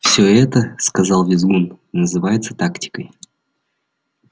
всё это сказал визгун называется тактикой